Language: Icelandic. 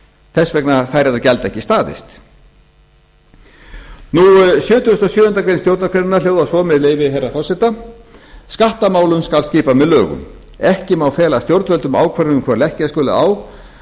þess vegna fær þetta gjald ekki staðist sjötugasta og sjöundu grein stjórnarskrárinnar bjóða svo með leyfi herra forseta skattamálum skal skipað með lögum ekki má fela stjórnvöldum ákvörðun um hvað leggja skuli á